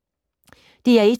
DR1